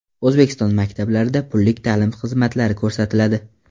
O‘zbekiston maktablarida pullik ta’lim xizmatlari ko‘rsatiladi.